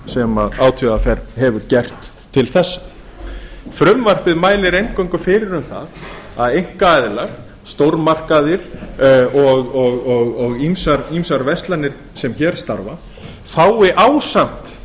sem átvr hefur gert til þessa frumvarpið mælir eingöngu fyrir um það að einkaaðilar stórmarkaðir og ýmsar verslanir sem hér starfa fái ásamt